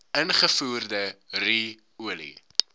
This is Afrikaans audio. ingevoerde ru olie